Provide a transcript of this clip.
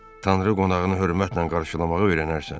Tanrı qonağını hörmətlə qarşılamağı öyrənərsən.